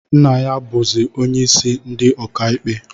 Nna m bụzị onyeisi ndi ọkaikpe